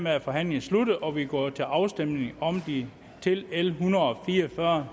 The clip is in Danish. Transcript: er forhandlingen sluttet og vi går til afstemning om de til l en hundrede og fire og fyrre